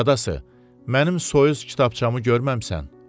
Qadası, mənim soyuz kitabçamı görməmisən?